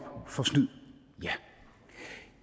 for snyd